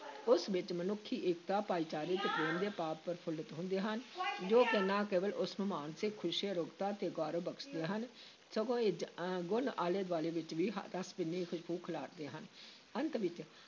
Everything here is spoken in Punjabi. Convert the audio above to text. ਉਸ ਵਿੱਚ ਮਨੁੱਖੀ-ਏਕਤਾ, ਭਾਈਚਾਰੇ ਤੇ ਪ੍ਰੇਮ ਦੇ ਭਾਵ ਪ੍ਰਫੁੱਲਤ ਹੁੰਦੇ ਹਨ ਜੋ ਕਿ ਨਾ ਕੇਵਲ ਉਸ ਨੂੰ ਮਾਨਸਿਕ ਖੁਸ਼ੀ, ਅਰੋਗਤਾ ਤੇ ਗੌਰਵ ਬਖਸ਼ਦੇ ਹਨ, ਸਗੋਂ ਇਜ ਅਹ ਗੁਣ ਆਲੇ-ਦੁਆਲੇ ਵਿਚ ਵੀ ਹ ਰਸ ਭਿੰਨੀ ਖੁਸ਼ਬੂ ਖਿਲਾਰਦੇ ਹਨ, ਅੰਤ ਵਿਚ